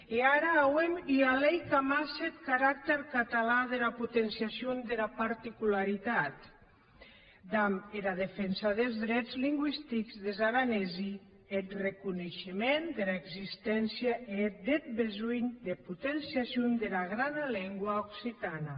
e ara auem ua lei qu’amasse eth caractèr catalan dera potenciacion dera particularitat damb era defensa des drets lingüistics des aranesi e eth reconeishement dera existéncia e deth besonh de potenciacion dera grana lengua occitana